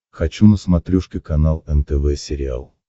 хочу на смотрешке канал нтв сериал